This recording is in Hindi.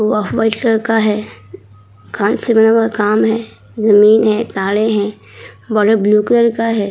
वह व्हाइट कलर का है। कान से बना बहोत काम है। जमीन है। तारे हैं। ब्लू कलर का है।